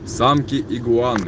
самки игуаны